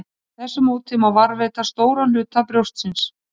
Með þessu móti má varðveita stóran hluta brjóstsins.